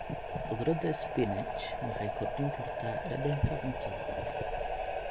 Khudradda spinach waxay kordhin kartaa dhadhanka cuntada.